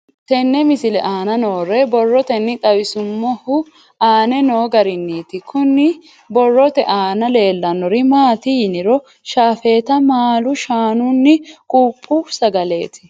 Tenne misile aana noore borroteni xawiseemohu aane noo gariniiti. Kunni borrote aana leelanori maati yiniro shaafeta maalu shaanunni quuphphu sagaleeti.